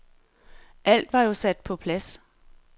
Alt var jo sat på plads.